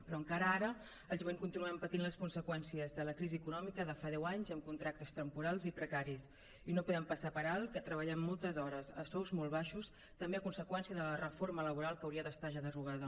però encara ara el jovent continuem patint les conseqüències de la crisi econòmica de fa deu anys amb contractes temporals i precaris i no podem passar per alt que treballem moltes hores a sous molt baixos també a conseqüència de la reforma laboral que hauria d’estar ja derogada